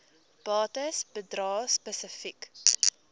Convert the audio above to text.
bates bedrae spesifiek